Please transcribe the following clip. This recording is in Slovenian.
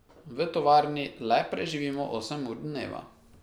V tovarni le preživimo osem ur dneva.